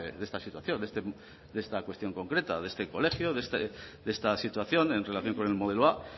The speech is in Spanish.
de esta situación de esta cuestión concreta de este colegio de esta situación en relación con el modelo a